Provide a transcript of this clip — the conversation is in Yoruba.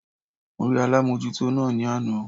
Mo rí alámójútó náà ní àná